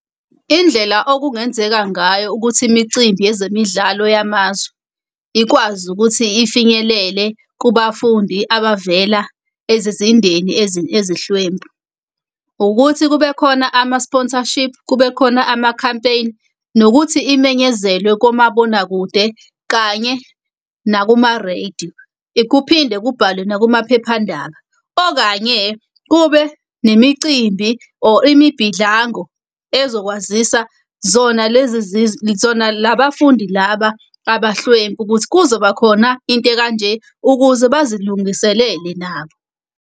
Indlela okungenzeka ngayo ukuthi imicimbi yezemidlalo yamazwe ikwazi ukuthi ifinyelele kubafundi abavela ezizindeni ezihlwempu, ukuthi kube khona ama-sponsorship, kube khona ama-campaign, nokuthi imenyezelwe komabonakude kanye nakuma-radio. Kuphinde kubhalwe nakumaphephandaba, okanye kube nemicimbi or imibhidlango ezokwazisa zona lezi zona labafundi laba abahlwempu ukuthi kuzoba khona into ekanje ukuze bazilungiselele nabo.